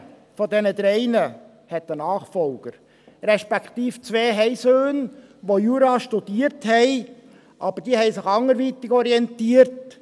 Keiner dieser drei hat einen Nachfolger, respektive zwei haben Söhne, die Jura studiert haben, aber sie haben sich anderweitig orientiert.